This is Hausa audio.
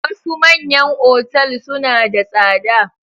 Wasu manyan otal suna da tsada.